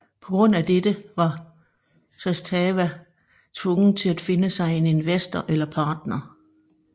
På grund af dette var Zastava tvunget til at finde sig en investor eller partner